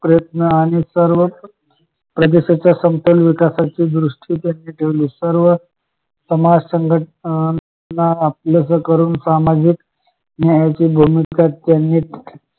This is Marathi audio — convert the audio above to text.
प्रयत्न आणि सर्वच प्रज्येच्या संपन्न विकासाची संपूर्ण दुरुस्ती त्यांनी ठेवली सर्व समाज संघटना आपलंस करून सामाजिक न्यायाची भूमिका त्यांनी